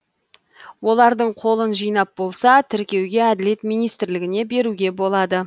олардың қолын жинап болса тіркеуге әділет министрлігіне беруге болады